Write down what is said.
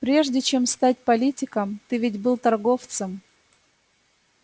прежде чем стать политиком ты ведь был торговцем